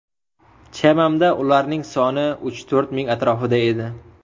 Chamamda ularning soni uch-to‘rt ming atrofida edi.